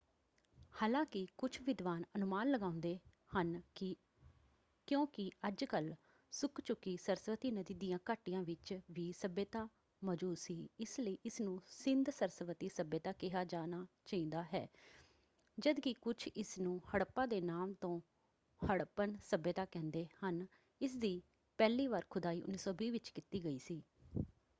ਹਾਲਾਂਕਿ ਕੁੱਝ ਵਿਦਵਾਨ ਅਨੁਮਾਨ ਲਗਾਉਂਦੇ ਹਨ ਕਿ ਕਿਉਂਕਿ ਅੱਜ-ਕਲ੍ਹ ਸੁੱਕ ਚੁਕੀ ਸਰਸਵਤੀ ਨਦੀ ਦੀਆਂ ਘਾਟੀਆਂ ਵਿੱਚ ਵੀ ਸੱਭਿਅਤਾ ਮੌਜੂਦ ਸੀ ਇਸ ਲਈ ਇਸ ਨੂੰ ਸਿੰਧ-ਸਰਸਵਤੀ ਸੱਭਿਅਤਾ ਕਿਹਾ ਜਾਣਾ ਚਾਹੀਦਾ ਹੈ ਜਦ ਕਿ ਕੁੱਝ ਇਸਨੂੰ ਹੜੱਪਾ ਦੇ ਨਾਮ ਤੋਂ ਹੜੱਪਨ ਸੱਭਿਅਤਾ ਕਹਿੰਦੇ ਹਨ ਇਸਦੀ ਪਹਿਲੀ ਵਾਰ ਖੁਦਾਈ 1920 ਵਿੱਚ ਕੀਤੀ ਗਈ ਸੀ।